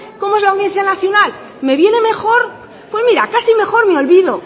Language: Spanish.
como es la audiencia nacional me viene mejor pues mira casi mejor me olvido